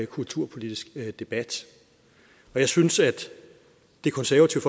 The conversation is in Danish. kulturpolitisk debat jeg synes at det konservative